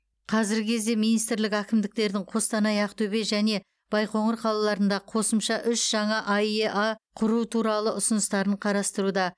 қазіргі кезде министрлік әкімдіктердің қостанай ақтөбе және байқоңыр қалаларында қосымша үш жаңа аэа құру туралы ұсыныстарын қарастыруда